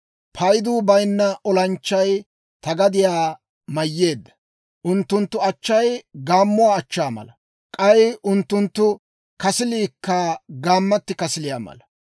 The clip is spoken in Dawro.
Payduu bayinna olanchchay ta gadiyaa mayyeedda. Unttunttu achchay gaammuwaa achchaa mala; k'ay unttunttu kasiliikka gaammatti kasiliyaa mala.